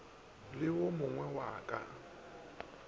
le wo mogwe wa ka